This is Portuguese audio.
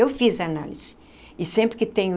Eu fiz análise e sempre que tenho